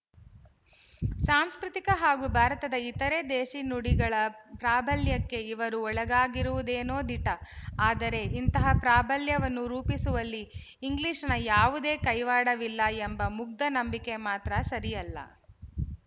ಸಾಂಸ್ಕೃತಿಕ ಹಾಗೂ ಭಾರತದ ಇತರೆ ದೇಶಿ ನುಡಿಗಳ ಪ್ರಾಬಲ್ಯಕ್ಕೆ ಇವರು ಒಳಗಾಗಿರುವುದೇನೋ ದಿಟ ಆದರೆ ಇಂತಹ ಪ್ರಾಬಲ್ಯವನ್ನು ರೂಪಿಸುವಲ್ಲಿ ಇಂಗ್ಲಿಶಿನ ಯಾವುದೇ ಕೈವಾಡವಿಲ್ಲ ಎಂಬ ಮುಗ್ದ ನಂಬಿಕೆ ಮಾತ್ರ ಸರಿಯಲ್ಲ